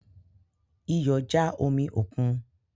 Iyọ ja omi okun